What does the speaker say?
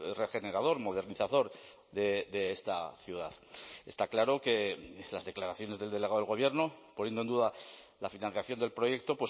regenerador modernizador de esta ciudad está claro que las declaraciones del delegado del gobierno poniendo en duda la financiación del proyecto